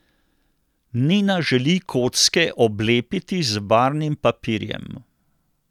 Nina želi kocke oblepiti z barvnim papirjem.